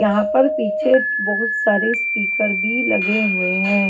यहां पर पीछे बहुत सारे स्पीकर भी लगे हुए हैं।